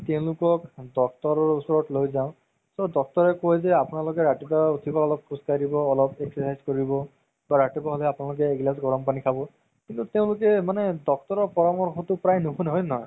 তেওলোকক doctor ৰ ওচৰলৈ লৈ যাও so doctor য়ে কই যে আপোনালোকে ৰাতিপুৱা উথিব অলপ খোজ কাঢ়িব দিব অলপ exercise কৰিব বা ৰাতিপুৱা হ'লে এহিলাছ গৰম পানি খাব কিন্তু তেওলোকে মানে doctor ৰ পৰামৰ্শতো প্ৰায় নুশুনে হয় নে নহয়